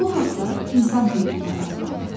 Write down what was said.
Bu haqlar insan hüquqları adlanır.